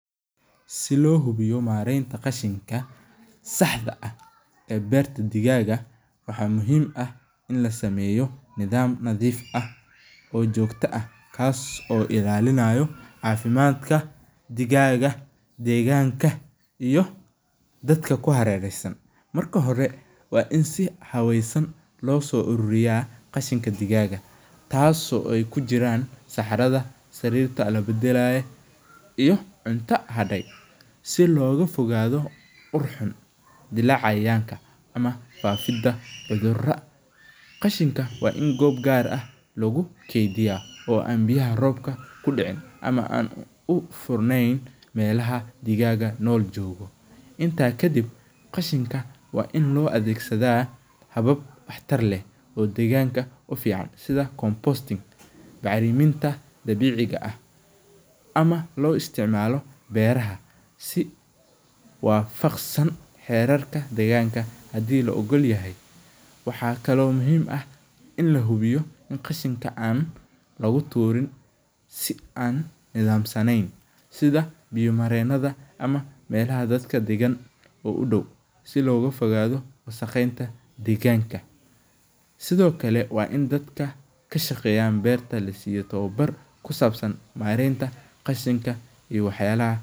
Si lo hubiyo marenta qashinka saxda ah ee beerta digaga ah waxaa muhiim ah in lasameyo nidham nadhiif ah oo jogto ah si lo haweyo digaga iyo dadka ku hareresan marka hore waa in si wanagsan loso aruriya tas oo ka miid ah saxaraada iyo cunto harte si loga fogaado ur xur oo dila cayayanka cudhura oo an biyaha robka kudicin u fur nen, inta kadiib waa in lo adhegsadaa habab wax tar leh sitha bacriminta saxda ah ama lo isticmalo, waxaa kalo muhiim ah in qashinkaa lo tura sitha biya maren ama melaha dadka dagan udow si loga fogado kashaqeya tawabar kashaqeya iyo waxyala.